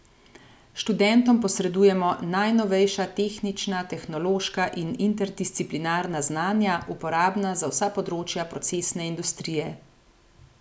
Študentom posredujemo najnovejša tehnična, tehnološka in interdisciplinarna znanja, uporabna za vsa področja procesne industrije.